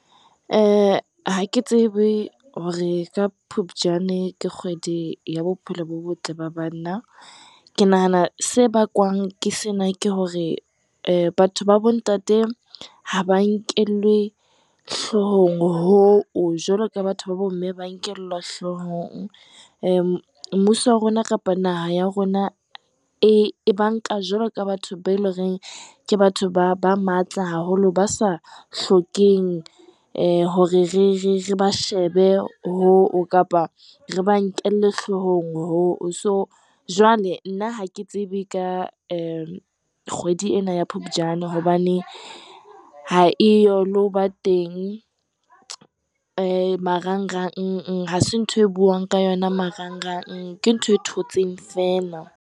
Ha ke tsebe hore ka Phupjane ke kgwedi ya bophelo bo botle ba banna. Ke nahana se bakwang ke sena ke hore batho babo ntate ha ba nkelwe hlohong hoo jwaloka batho ba bo mme ba nkelwa hloohong. Mmuso wa rona kapa Naha ya rona e ba nka jwalo ka batho beo e le horeng ke batho ba matla haholo, ba sa hlokeheng hore re ba shebe hoo, kapa re ba nkelle hlohong hoo. So, jwale nna ha ke tsebe ka kgwedi ena ya Phupjane, hobane ha e yo lo ho ba teng marangrang, hase ntho eo ho buwang ka yona marangrang, ke ntho e thotseng feela.